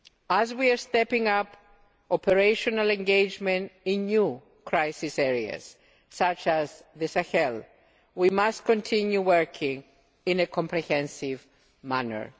As we are stepping up operational engagement in new crisis areas such as the Sahel, we must continue working in a comprehensive manner.